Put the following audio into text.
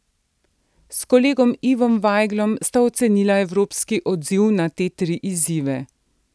S kolegom Ivom Vajglom sta ocenila evropski odziv na te tri izzive.